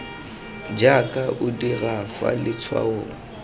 jaaka o dira fa letshwaong